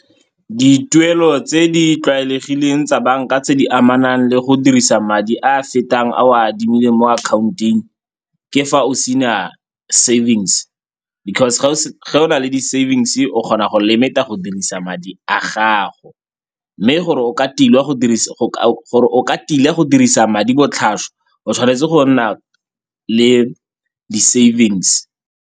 Dituelo tse di tlwaelegileng tsa banka tse di amanang le go dirisa madi a a fetang a o a adimileng mo akhaonteng, ke fa o sena savings because ga o na le di-savings-e o kgona go limit-a go dirisa madi a gago. Mme gore o ka tila go dirisa madi botlhaswa o tshwanetse go nna le di-savings.